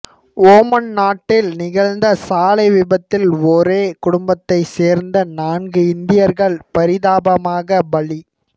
Oman நாட்டில் நிகழ்ந்த சாலை விபத்தில் ஒரே குடும்பத்தை சேர்ந்த நான்கு இந்தியர்கள் பரிதாபமாக பலி